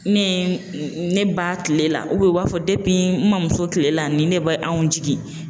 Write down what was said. Ne ye n n ne ba kile la u b'a fɔ n mamuso kile la ni ne bɛ anw jigin